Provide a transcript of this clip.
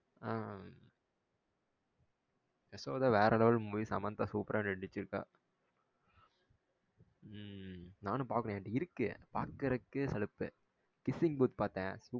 ஆஹ் யசோதா வேற level movie Samantha super ரா நடிச்சு இருக்கா உம் நானும் பார்க்கணும் என்ட்ட இருக்கு பார்க்குறதுக்கு அலுப்பு kissing booth பார்த்த